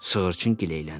Sığırçın gileyləndi.